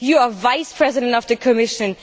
You are Vice President of the Commission.